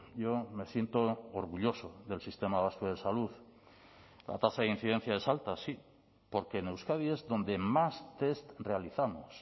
yo me siento orgulloso del sistema vasco de salud la tasa de incidencia es alta sí porque en euskadi es donde más test realizamos